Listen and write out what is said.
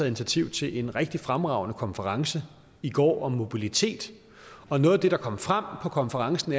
initiativ til en rigtig fremragende konference i går om mobilitet og noget af det der kom frem på konferencen